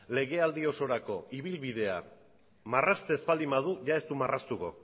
legealdi osorako ibilbidea marrazten ez baldin badu ia ez du marraztuko